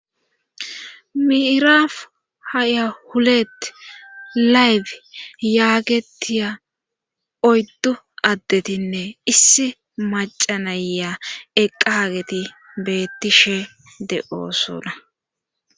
Miirafu haya hulettt layf yaagetiya oyddu addetinne issi macanaya eqqa hageti beettishe de7oosuna